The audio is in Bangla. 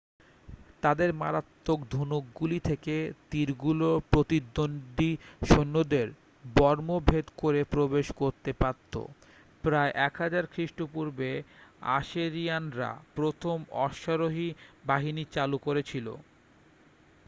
তাদের মারাত্মক ধনুকগুলি থেকে তীরগুলো প্রতিদ্বন্দ্বী সৈন্যদের বর্ম ভেদ করে প্রবেশ করতে পারতো প্রায় 1000 খ্রিস্টপূর্বে আশেরিয়ানরা প্রথম অশ্বারোহী বাহিনী চালু করেছিল